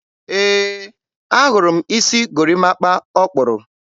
e, a hụrụ m isi gorimapa ọ kpụrụ.